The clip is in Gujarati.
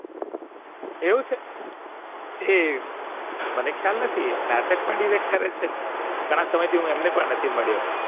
એવું છે એ મને ખ્યાલ નથી નાટક પણ કરે છે ઘણા સમયથી હું એમને પણ નથી મળ્યો